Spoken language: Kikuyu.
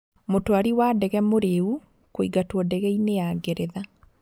Mũtwari wa ndege 'mũrĩu' kũingatwo ndege-inĩ ya Ngeretha.